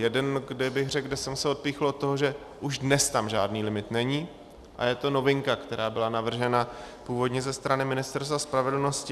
Jeden, kde bych řekl, že jsem se odpíchl od toho, že už dnes tam žádný limit není, a je to novinka, která byla navržena původně ze strany Ministerstva spravedlnosti.